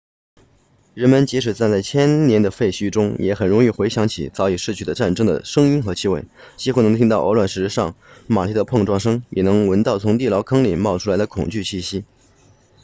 人们即使站在千年的废墟中也很容易回想起早已逝去的战争的声音和气味几乎能听到鹅卵石上马蹄的碰撞声也能闻到从地牢坑里冒出来的恐惧气息